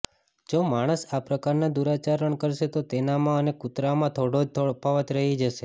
જો માણસ આ પ્રકારના દુરાચરણ કરશે તો તેનામાં અને કુતરામાં થોડો જ તફાવત રહી જશે